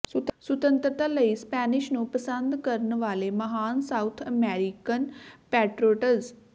ਸੁਤੰਤਰਤਾ ਲਈ ਸਪੈਨਿਸ਼ ਨੂੰ ਪਸੰਦ ਕਰਨ ਵਾਲੇ ਮਹਾਨ ਸਾਊਥ ਅਮਰੀਕਨ ਪੈਟ੍ਰੌਟਜ਼